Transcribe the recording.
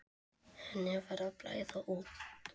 Henni var að blæða út.